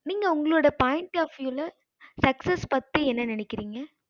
நீங்க உங்களோட point of view sucess பத்தி என்ன நேனைகிரிங்க